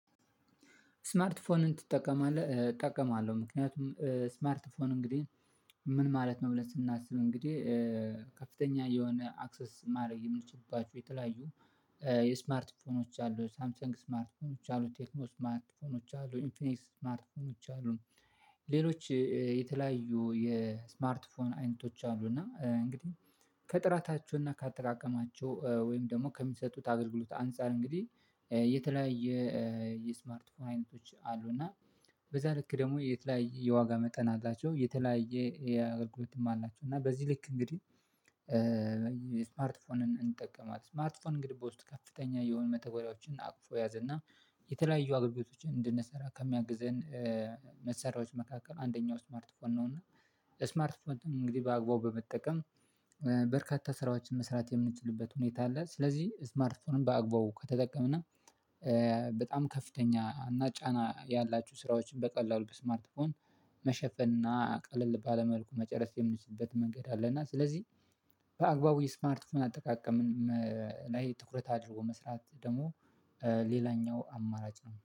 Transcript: ስማርት ፎንን ትጠቀማለህ እጠቀማለሁ ምክንያቱም ስማርት ፎን እንግዲህ ምን ማለት ነው? ብለን ስናስብ እንግዴ ከፍተኛ የሆነ አክሰስ ማድረግ የምንችልባችሁ የተለያዩ የስማርት ፎኖች አሉ ሳምሰንግ ስማርት ፎኖች አሉ ቴክኖ ስማርት ፎኖች አሉ ኢንፊኒክስ ስማርት ፎኖች አሉ። ሌሎች የተለያዩ የስማርት ፎን አይነቶች አሉ እና እንግዲህ ከጥራታቸው እና ካተቃቀማቸው ወይም ደግሞ ከሚሰጡት አገልግሎት አንፃር እንግዲህ የተለያየ የስማርት ፎን አይነቶች አሉ። እና በዛ ልክ ደግሞ የተለያየ የዋጋ መጠን አላቸው የተለያየ አገልግሎትም አላቸው። እና በዚህ ልክ እንግዲህ ስማርት ፎንን እንጠቀማለን ስማርት ፎን እንግዲህ በውስጥ ከፍተኛ የሆኑ መተግበሪያዎችን አቅፎ የያዘና የተለያዩ አገልግሎችን እንድንሰራ ከሚያግዘን መሰራሮች መካከል አንደኛው ስማርት ፎን ነው። እና ስማርት ፎን እንግዲህ በአግባቡ በመጠቀም በርካታ ስራዎችን መስራት የምንችልበት ሁኔታ አለ። ስለዚህ ስማርትፎንም በአግባው ከተጠቀምን በጣም ከፍተኛ እና ጫና ያላችሁ ስራዎችን በቀላሉ በስማርትፎን መሸፈን እና ቀለል ባለ መልኩ መጨረስ የምንችልበት መንገድ አለ። እና ስለዚህ በአግባቡ የስማርት ፎን አጠቃቀም ላይ ትኩረት አድርጎ መስራት ደግሞ ሌላኛው አማራጭ ነው